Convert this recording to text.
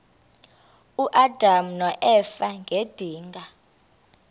uadam noeva ngedinga